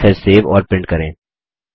message save और print करें